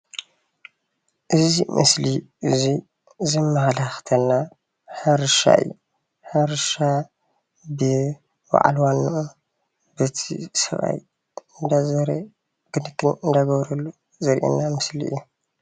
እዚ ሞስሊ ዙይ ዘመላኽተና ሕርሻ እዬ ።ሕርሽ እቲ በዓል ዋና እዚ ሰብኣይ እናዘረ እናተንከባኸበ ዘርእየና ዘሎ እዩ።